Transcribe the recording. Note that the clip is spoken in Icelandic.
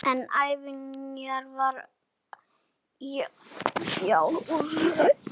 En ánægjan var fjarri.